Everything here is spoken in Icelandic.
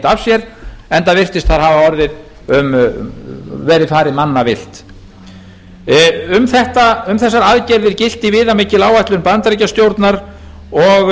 af sér enda virtist þar hafa verið farið mannavillt um þessar aðgerðir gilti viðamikil áætlun bandaríkjastjórnar og